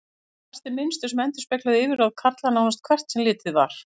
Við þeim blasti mynstur sem endurspeglaði yfirráð karla, nánast hvert sem litið var.